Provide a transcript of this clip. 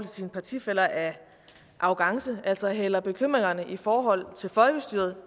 sine partifæller er arrogance altså at man hælder bekymringerne i forhold til folkestyret